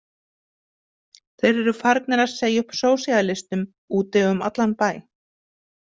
Þeir eru farnir að segja upp sósíalistum úti um allan bæ.